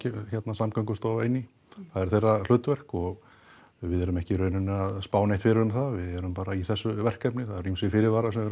Samgöngustofa inn í það er þeirra hlutverk og við erum ekki í raun að spá neitt fyrir um það við erum bara í þessu verkefni það eru ýmsir fyrirvarar sem við